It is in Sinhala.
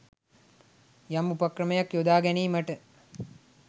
යම් උපක්‍රමයක් යොදා ගැනීමට